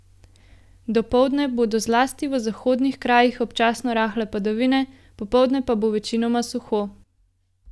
Dopoldne bodo zlasti v zahodnih krajih občasno rahle padavine, popoldne pa bo večinoma suho.